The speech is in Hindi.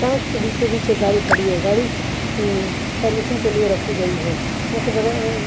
ट्रक के बीचो बिच एक गाडी खड़ी है गाडी उंग सर्विसिंग के लिए रखी गई है ट्रक के बग़ैर अ अ--